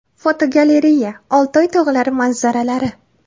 Fotogalereya: Oltoy tog‘lari manzaralari.